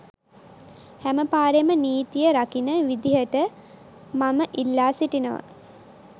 හැම පාරෙම නීතිය රකින විදිහට මම ඉල්ලා සිටිනවා